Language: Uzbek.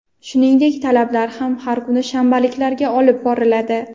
shuningdek talabalar ham har kuni shanbaliklarga olib boriladi.